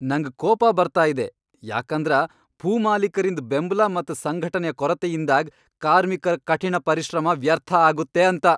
ನಂಗ್ ಕೋಪ ಬರ್ತಾ ಇದೆ ಯಾಕಂದರ ಭೂಮಾಲೀಕರಿಂದ್ ಬೆಂಬ್ಲ ಮತ್ ಸಂಘಟನೆಯ ಕೊರತೆಯಿಂದಾಗ್ ಕಾರ್ಮಿಕರ ಕಠಿಣ ಪರಿಶ್ರಮ ವ್ಯರ್ಥ ಆಗುತ್ತೆ ಅಂತ.